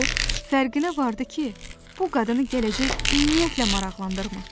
O fərqinə vardı ki, bu qadını gələcək ümumiyyətlə maraqlandırmır.